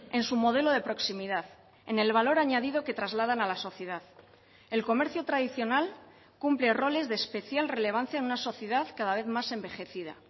en su modelo de proximidad en el valor añadido que trasladan a la sociedad el comercio tradicional cumple roles de especial relevancia en una sociedad cada vez más envejecida